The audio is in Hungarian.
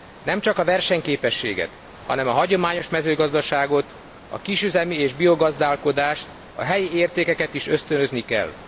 Nem csak a versenyképességet, hanem a hagyományos mezőgazdaságot, a kisüzemi és biogazdálkodást, a helyi értékeket is ösztönözni kell.